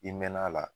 I mɛna a la